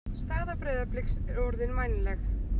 Staða Breiðabliks er orðin vænleg